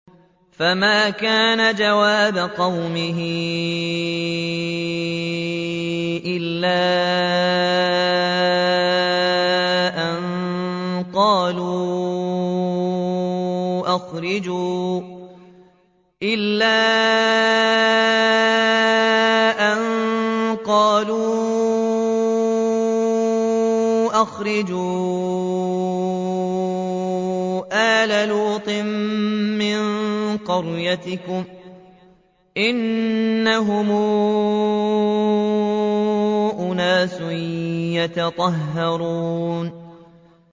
۞ فَمَا كَانَ جَوَابَ قَوْمِهِ إِلَّا أَن قَالُوا أَخْرِجُوا آلَ لُوطٍ مِّن قَرْيَتِكُمْ ۖ إِنَّهُمْ أُنَاسٌ يَتَطَهَّرُونَ